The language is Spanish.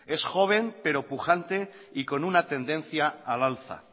es joven pero pujante y con una tendencia al alza